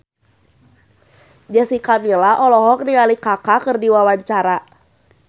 Jessica Milla olohok ningali Kaka keur diwawancara